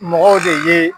Mɔgɔw de ye